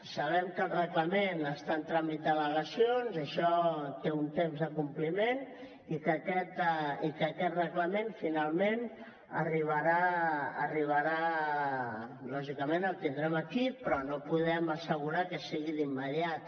sabem que el reglament està en tràmit d’al·legacions i això té un temps de compliment i que aquest reglament finalment arribarà lògicament el tindrem aquí però no podem assegurar que sigui d’immediat